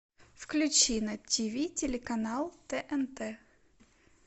включи на тиви телеканал тнт